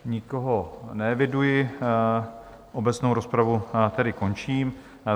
Nikoho neeviduji, obecnou rozpravu tedy končím.